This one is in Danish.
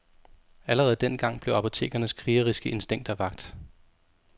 Allerede dengang blev apotekernes krigeriske instinkter vakt.